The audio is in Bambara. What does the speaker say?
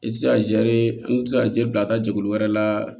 I ti se ka i ti se ka jaa bila ka taa jɛkulu wɛrɛ la